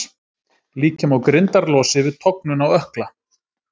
Líkja má grindarlosi við tognun á ökkla.